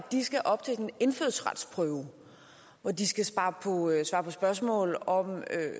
de skal op til en indfødsretsprøve hvor de skal svare på spørgsmål om